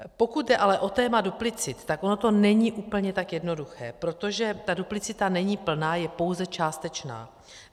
Pokud jde ale o téma duplicit, tak ono to není tak úplně jednoduché, protože ta duplicita není plná, je pouze částečná.